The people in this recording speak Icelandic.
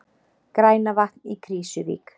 Grænavatn í Krýsuvík.